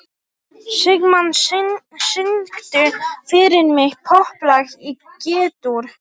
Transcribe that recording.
Sigmann, syngdu fyrir mig „Popplag í G-dúr“.